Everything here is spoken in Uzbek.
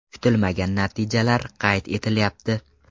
Kutilmagan natijalar qayd etilyapti.